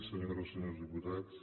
senyores i senyors diputats